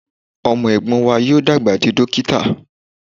Ọmọ ẹ̀gbọ́n wa yóò dàgbà di dókítà